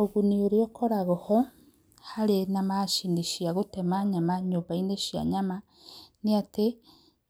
Ũguni ũrĩa ũkoragwo ho harĩ na macini cia gũtema nyama nyũmba-inĩ cia nyama nĩ atĩ